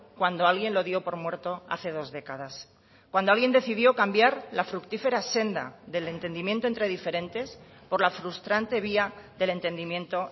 cuando alguien lo dio por muerto hace dos décadas cuando alguien decidió cambiar la fructífera senda del entendimiento entre diferentes por la frustrante vía del entendimiento